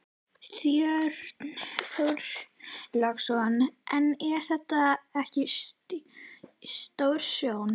Björn Þorláksson: En er þetta ekki stórtjón?